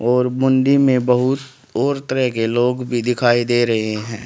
और मुंडी मे बहुत और तरह के लोग भी दिखाई दे रहे है।